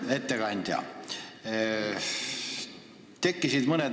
Hea ettekandja!